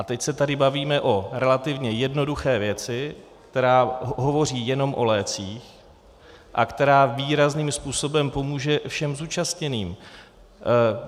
A teď se tady bavíme o relativně jednoduché věci, která hovoří jenom o lécích a která výrazným způsobem pomůže všem zúčastněným.